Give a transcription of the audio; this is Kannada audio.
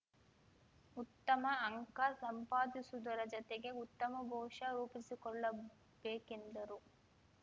ಉತ್ತಮ ಅಂಕ ಸಂಪಾದಿಸುವುದರ ಜತೆಗೆ ಉತ್ತಮ ಭವಿಷ್ಯ ರೂಪಿಸಿಕೊಳ್ಳಬೇಕೆಂದರು